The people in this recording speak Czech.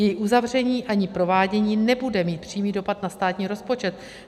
Její uzavření ani provádění nebude mít přímý dopad na státní rozpočet.